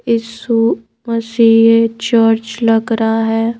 यीशु मसीह चर्च लग रहा है।